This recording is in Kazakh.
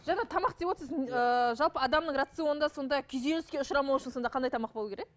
жаңа тамақ деп отырсыз ыыы жалпы адамның рационында сонда күйзеліске ұшырамау үшін сонда қандай тамақ болуы керек